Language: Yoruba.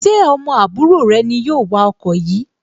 Ṣé ọmọ àbúrò rẹ ni yóò wa ọkọ yìí